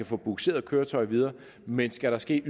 få bugseret køretøjet videre men skal der ske